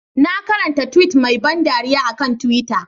Na karanta tweet mai ban dariya a kan twitter.